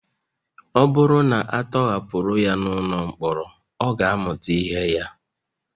Ọ bụrụ na a tọhapụrụ ya ụlọ mkpọrọ ọ ga-amụta ihe ya